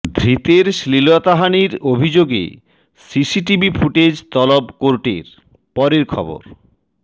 ধৃতের শ্লীলতাহানির অভিযোগে সিসিটিভি ফুটেজ তলব কোর্টের পরের খবর